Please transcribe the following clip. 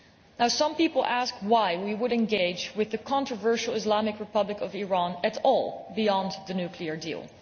Now, some people ask why we would engage with the controversial Islamic Republic of Iran at all, beyond the nuclear deal?